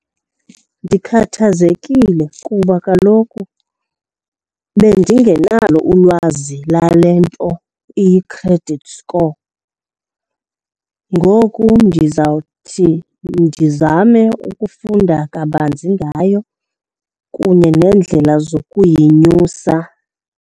Ndikhathazekile kuba kaloku bendingenalo ulwazi lale nto iyi-credit score, ngoku ndizawuthi ndizame ukufunda kabanzi ngayo kunye neendlela zokuyenyusa.